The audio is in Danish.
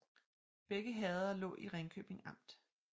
Begge herreder lå i Ringkøbing Amt